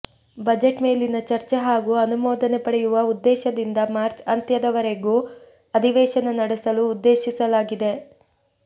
budget ಮೇಲಿನ ಚರ್ಚೆ ಹಾಗೂ ಅನುಮೋದನೆ ಪಡೆಯುವ ಉದ್ದೇಶದಿಂದ ಮಾರ್ಚ್ ಅಂತ್ಯದವರೆಗೂ ಅಧಿವೇಶನ ನಡೆಸಲು ಉದ್ದೇಶಿಸಲಾಗಿದೆ